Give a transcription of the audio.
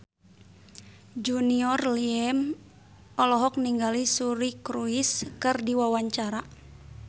Junior Liem olohok ningali Suri Cruise keur diwawancara